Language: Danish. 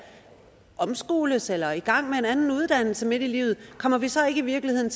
omskoles eller i gang med en anden uddannelse midt i livet kommer vi så i virkeligheden